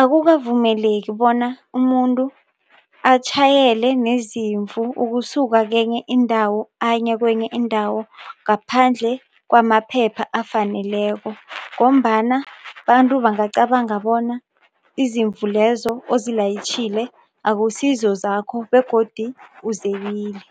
akukavumeleki bona umuntu atjhayele nezimvu ukusuka kenye indawo aye kenye indawo ngaphandle kwamaphepha afaneleko ngombana abantu bangacabanga bona izimvu lezo ozilayitjhiye akusizo zakho begodu uzebile.